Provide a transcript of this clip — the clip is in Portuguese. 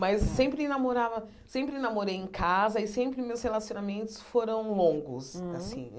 Mas sempre namorava sempre namorei em casa e sempre meus relacionamentos foram longos assim. Hum